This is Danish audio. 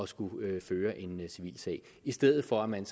skulle føre en civilsag i stedet for at man